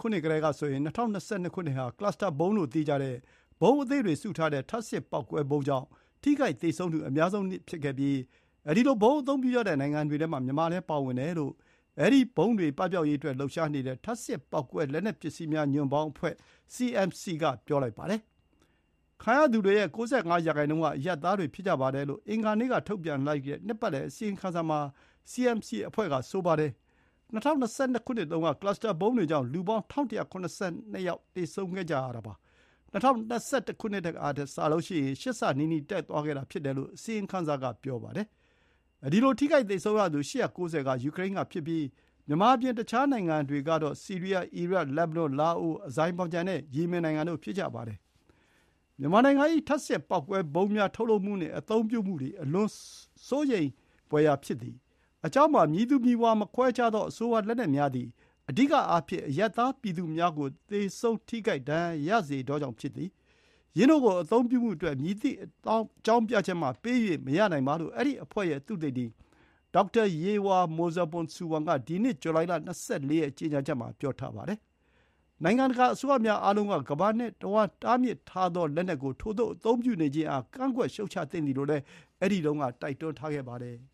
ခုနှစ်ကတည်းကဆိုရင် ၂၀၂၂ ခုနှစ် ဟာ Cluster ဗုံးလို့သိကြတဲ့ ဗုံးအသေးတွေ စုထားတဲ့ ထပ်ဆင့်ပေါက်ကွဲဗုံးကြောင့် ထိခိုက်သေဆုံးသူ အများဆုံးနှစ်ဖြစ်ခဲ့ပြီး ဒီလို ဗုံးအသုံးပြုကြတဲ့နိုင်ငံတွေထဲမှာ မြန်မာလည်း ပါဝင်တယ်လို့ အဲဒီလို ဗုံးတွေပပျောက်ရေးအတွက်လှုပ်ရှားနေတဲ့ “ထပ်ဆင့်ပေါက်ကွဲ လက်နက်ပစ္စည်းများ ညွန့်ပေါင်းအဖွဲ့” (CMC) က ပြောပါတယ်။ ခံရသူတွေရဲ့ ၉၅ ရာနှုန်းက အရပ်သားတွေဖြစ်ကြပါတယ်လို့ အင်္ဂါနေ့က ထုတ်ပြန်လိုက်တဲ့ နှစ်ပတ်လည်အစီရင်ခံစာမှာ စီအမ်စီအဖွဲ့က ဆိုပါတယ်။ ၂၀၂၂ ခုနှစ်တုန်းက ကလပ်စ်စတာဗုံးတွေကြောင့် လူပေါင်း ၁,၁၇၂ ယောက် ထိခိုက်သေဆုံးခဲ့ကြရတာပါ။ ၂၀၂၁ ခုနှစ်ကထက် ရှစ်ဆနီးနီးတက်သွားခဲ့တာ ဖြစ်တယ်လို့ အစီရင်ခံစာက ပြောပါတယ်။ အဲဒီလို ထိခိုက်သေဆုံးရသူ ၈၉၀ က ယူကရိန်းကဖြစ်ကြပြီး မြန်မာအပြင် အခြားနိုင်ငံတွေကတော့ ဆီးရီးယား၊ အီရတ်၊ လက်ဘနွန်၊ လာအို၊ အဇာဘိုင်ဂျန် နဲ့ ယီမင်နိုင်ငံတို့ ဖြစ်ကြပါတယ်။ “မြန်မာနိုင်ငံ၏ ထပ်ဆင့်ပေါက်ကွဲဗုံးများထုတ်လုပ်မှုနှင့် အသုံးပြုမှုသည် အလွန်အမင်းစိုးရိမ်ဖွယ်ရာ ဖြစ်သည်။ အကြောင်းမှာ မည်သူမည်ဝါမခွဲခြားသော အဆိုပါလက်နက်များသည် အဓိကအားဖြင့် အရပ်သားပြည်သူများကို သေဆုံး၊ ထိခိုက်ဒဏ်ရာရစေသောကြောင့်ဖြစ်သည်။ ယင်းတို့ကိုအသုံးပြုမှုအတွက် မည်သည့်အကြောင်းပြချက်မှပေး၍မရနိုင်ပါ” လို့ အဲဒီအဖွဲ့ရဲ့ သုတေသီ ဒေါက်တာ ယေရွှာ မိုဇာပွန် ဆူဝန်က ဒီနှစ် ဇူလိုင် ၂၄ ရက် ကြေညာချက်မှာ ပြောထားပါတယ်။ “နိုင်ငံတကာအစိုးရများအားလုံးက ကမ္ဘာတဝန်း တားမြစ်ထားသော လက်နက်ကို ထိုသို့အသုံးပြုနေခြင်းအား ကန့်ကွက်ရှုတ်ချသင့်သည်” လို့လည်း အဲဒီတုန်းက တိုက်တွန်းထားပါတယ်။